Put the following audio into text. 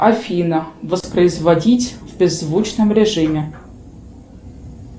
афина воспроизводить в беззвучном режиме